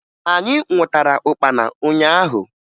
Anyị nwụtara ụkpana ụnyaahụ